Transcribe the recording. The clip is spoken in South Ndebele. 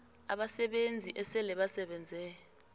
abasebenzi esele basebenze